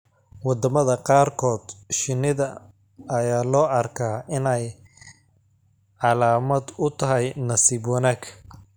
Wadamada qaarkood, shinnida ayaa loo arkaa inay calaamad u tahay nasiib wanaag.